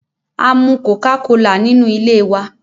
Amu coca-cola nínú ilé wa.